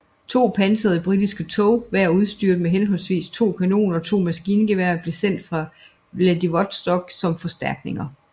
To pansrede britiske tog hver udstyret med henholdsvis to kanoner og to maskingeværer blev sendt fra Vladivostok som forstærkninger